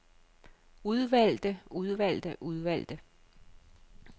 udvalgte udvalgte udvalgte